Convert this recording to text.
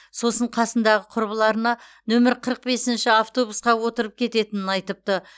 сосын қасындағы құрбыларына нөмірі қырық бесінші автобусқа отырып кететінен айтыпты